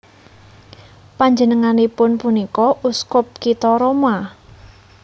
Panjenenganipun punika uskup kitha Roma